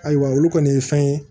Ayiwa olu kɔni ye fɛn ye